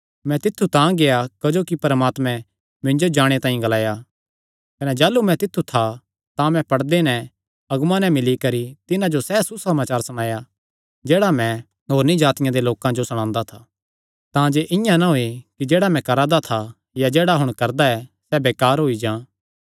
मैं तित्थु तां गेआ क्जोकि परमात्मैं मिन्जो जाणे तांई ग्लाया कने जाह़लू मैं तित्थु था तां मैं पड़दे नैं अगुआं नैं मिल्ली करी तिन्हां जो सैह़ सुसमाचार सणाया जेह्ड़ा मैं होरनी जातिआं दे लोकां जो सणांदा था तांजे इआं ना होयैं कि जेह्ड़ा मैं करा दा था या जेह्ड़ा हुण करदा ऐ सैह़ बेकार होई जां